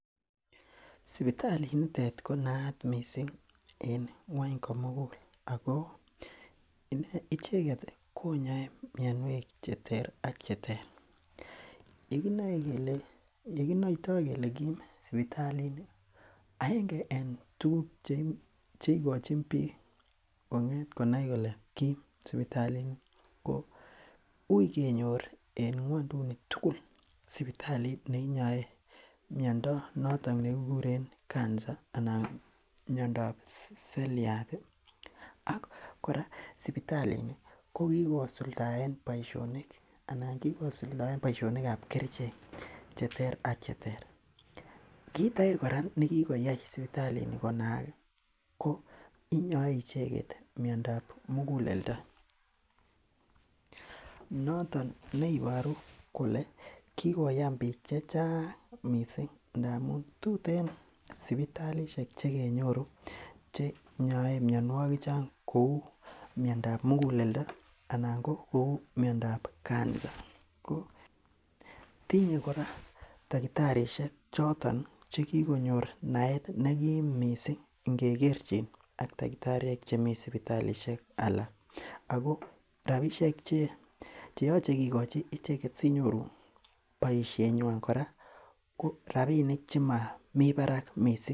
Sipitalit niton ko naat missing en ngwony komugul ako icheket ih konyoe mionwek cheter ak cheter. Yekinoe kele yekinoitoo kele kiim sipitalit ni aenge en tuguk cheikochin biik ko ng'et konai kole Kim sibitalit ni ko uui kenyor en ngwonduni tukul sipitalit neinyoe miondo noton nekikuren cancer anan miondab seriat ih ak kora sipitalit ni ko kikosuldaen boisionik anan kikosuldaen boisionik ab kerichek cheter ak cheter. Kit ake kora nekikoyai sipitalit ni konaak ih ko inyoe icheket miondab muguleldo noton neiboru kole kikoyan biik chechang missing ndamun tuten sipitalisiek chekenyoru chenyoe mionwogik chon kou miondab muguleldo anan ko kou miondab cancer ko tinye kora takitarishek choton chekikonyor naet nekim missing ngekerchin ak takitariek chemii sipitalisiek alak ako rapisiek cheyoche kikochi icheket sinyoru boisiet nywan kora ko rapinik chemomii barak missing